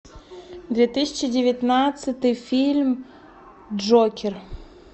две тысячи девятнадцатый фильм джокер